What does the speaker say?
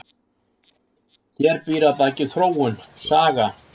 Hér býr að baki þróun, saga.